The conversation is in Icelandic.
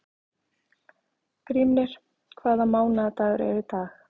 Grímnir, hvaða mánaðardagur er í dag?